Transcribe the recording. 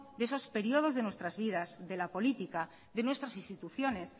de esos períodos de nuestras vidas de la política de nuestras instituciones